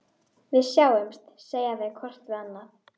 Gía, hækkaðu í græjunum.